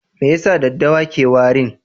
Me yasa daɗɗawa ke warin?